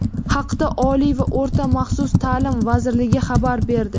Haqda Oliy va o‘rta maxsus ta’lim vazirligi xabar berdi.